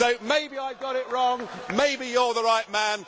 way. So maybe I got it wrong maybe you are the right